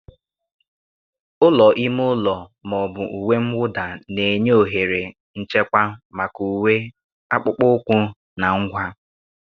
Ụlọ ime ụlọ ma ọ bụ uwe mwụda na-enye ohere nchekwa maka uwe, akpụkpọ ụkwụ, na ngwa.